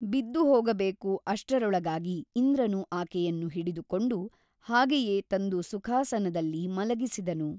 ಬಿದ್ದುಹೋಗಬೇಕು ಅಷ್ಟರೊಳಗಾಗಿ ಇಂದ್ರನು ಆಕೆಯನ್ನು ಹಿಡಿದುಕೊಂಡು ಹಾಗೆಯೇ ತಂದು ಸುಖಾಸನದಲ್ಲಿ ಮಲಗಿಸಿದನು.